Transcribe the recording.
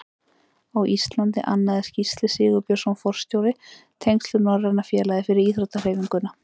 Á Íslandi annaðist Gísli Sigurbjörnsson forstjóri tengsl við Norræna félagið fyrir íþróttahreyfinguna.